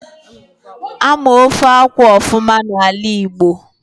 Ama ofe akwụ ofuma n'ala Igbo